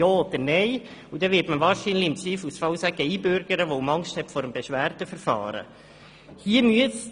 Im Zweifelsfall wird man sich wahrscheinlich für die Einbürgerung aussprechen, weil man Angst vor dem Beschwerdeverfahren hat.